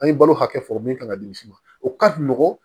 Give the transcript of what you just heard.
An ye balo hakɛ fɔ min kan ka di misi ma o ka nɔgɔn